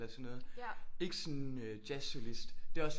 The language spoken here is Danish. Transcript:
Eller sådan noget ikke sådan jazzsolist det er også